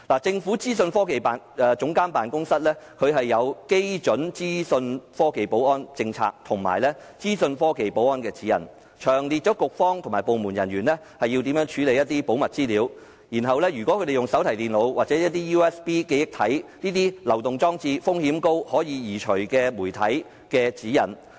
政府資訊科技總監辦公室訂有基準資訊科技保安政策及《資訊科技保安指引》，詳列局方和部門人員應如何處理保密資料，以及使用手提電腦、USB 記憶體這些高風險流動裝置和可移除式媒體的指引。